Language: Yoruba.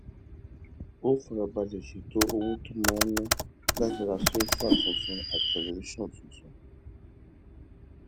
ó fara balè ṣètò owó tó máa ná láti ra sóòfà tuntun àti tẹlifíṣòn tuntun